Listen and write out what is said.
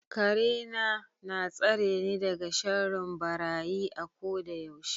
Karena na tsareni daga sharrin barayi a kodayaushe.